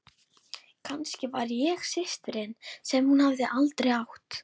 Kannski var ég systirin sem hún hafði aldrei átt.